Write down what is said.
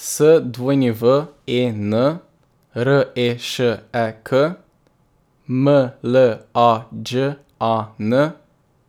S W E N, R E Š E K; M L A Đ A N,